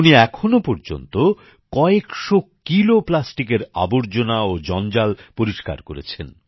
উনি এখনো পর্যন্ত কয়েকশো কিলো প্লাস্টিকের আবর্জনা ও জঞ্জাল পরিষ্কার করেছেন